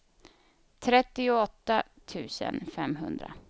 trettioåtta tusen femhundra